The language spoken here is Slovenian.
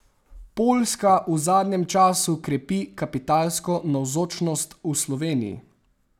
Poljska v zadnjem času krepi kapitalsko navzočnost v Sloveniji.